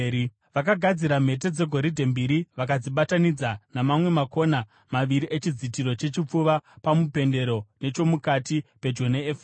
Vakagadzira mhete dzegoridhe mbiri vakadzibatanidza namamwe makona maviri echidzitiro chechipfuva pamupendero nechomukati pedyo neefodhi.